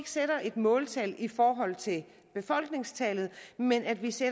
sætte et måltal i forhold til befolkningstallet men at vi skal